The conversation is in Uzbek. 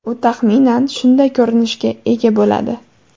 U taxminan shunday ko‘rinishga ega bo‘ladi.